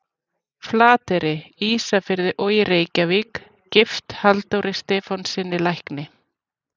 Flateyri, Ísafirði og í Reykjavík, gift Halldóri Stefánssyni lækni.